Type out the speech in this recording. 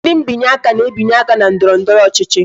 Ndị binye aka na-ebinye aka na ndọrọndọrọ ọchịchị